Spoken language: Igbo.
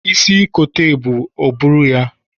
Isi kote ebu, o buru ya!